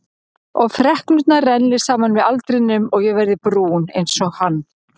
Og freknurnar renni saman með aldrinum og ég verði brún einsog hann.